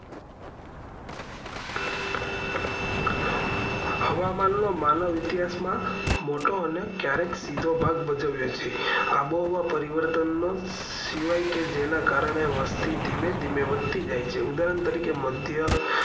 હવામાન નો માનવ ઇતિહાસ માં મોટો હાથ છે અને ક્યારે સીધો ભાગ ભજવીએ છે અબો હવા પરિવર્તન નો સિવાય કે જેન કારણે વસ્તી ધીમે ધીમે વધતી જાય છે ઉદાહરણ તરીકે મધ્ય